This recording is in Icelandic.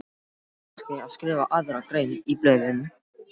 Á kannski að skrifa aðra grein í blöðin?